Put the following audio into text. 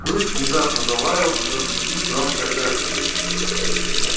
клык внезапно залаял разбудив громкое эхо